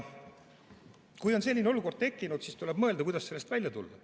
Kui on selline olukord tekkinud, siis tuleb mõelda, kuidas sellest välja tulla.